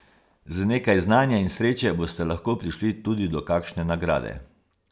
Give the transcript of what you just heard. Z nekaj znanja in sreče boste lahko prišli tudi do kakšne nagrade.